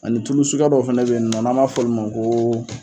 Ani tulu sugaya dɔw fana be yen nɔ n'an b'a f'ɔlu ma ko